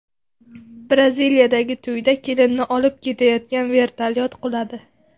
Braziliyadagi to‘yda kelinni olib ketayotgan vertolyot quladi .